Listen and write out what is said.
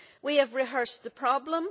We have rehearsed the problem.